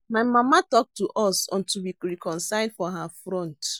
My mama talk to us until we reconcile for her front